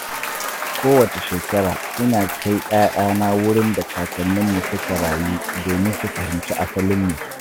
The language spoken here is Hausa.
Kowace shekara, ina kai 'ya'yana wurin da kakanninmu suka rayu domin su fahimci asalinmu.